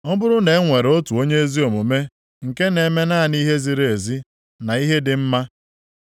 “Ọ bụrụ na-enwere otu onye ezi omume nke na-eme naanị ihe ziri ezi na ihe dị mma,